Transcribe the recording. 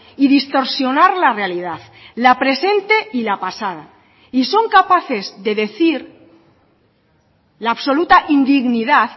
y distorsionar la realidad la presente y la pasada y son capaces de decir la absoluta indignidad